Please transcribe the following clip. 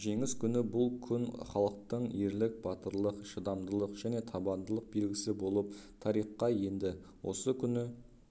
жеңіс күні бұл күн халықтың ерлік батырлық шыдамдылық және табандылық белгісі болып тарихқа енді осы күні